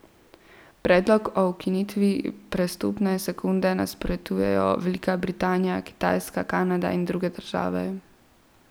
Predlogu o ukinitvi prestopne sekunde nasprotujejo Velika Britanija, Kitajska, Kanada in druge države.